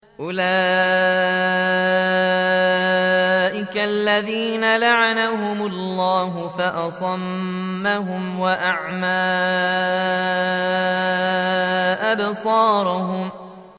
أُولَٰئِكَ الَّذِينَ لَعَنَهُمُ اللَّهُ فَأَصَمَّهُمْ وَأَعْمَىٰ أَبْصَارَهُمْ